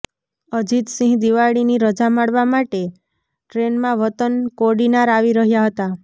અજીતસિંહ દિવાળીની રજા માણવા માટે ટ્રેનમાં વતન કોડીનાર આવી રહ્યા હતા